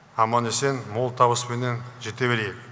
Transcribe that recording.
аман есен мол табыспенен жете берейік